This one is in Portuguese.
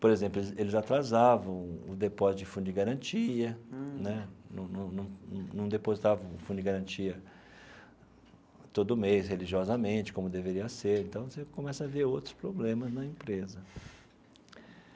Por exemplo, eles eles atrasavam o depósito de fundo de garantia né, não não não não depositavam o fundo de garantia todo mês, religiosamente, como deveria ser, então você começa a ver outros problemas na empresa.